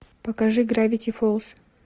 покажи гравити фолз